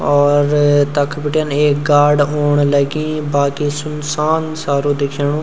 और तख बटिन ऐक गाड औण लगी बाकी सुनसान सारू दिखेणु।